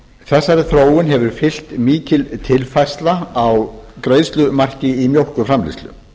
þessari þróun hefur fylgt mikil tilfærsla á greiðslumarki í mjólkurframleiðslu